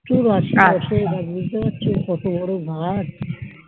প্রচুর গাছ আছে বুঝতে পারছো কত বোরো গাছ